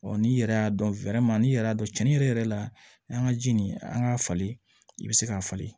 n'i yɛrɛ y'a dɔn n'i yɛrɛ y'a dɔn cɛnnin yɛrɛ la an ka ji nin an k'a falen i be se k'a falen